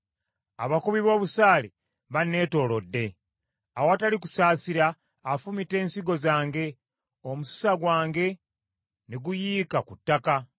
abakubi b’obusaale banneetoolodde. Awatali kusaasira, afumita ensigo zange, omususa gwange ne guyiika ku ttaka.